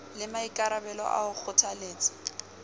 le maikarabelo a ho kgothaletsa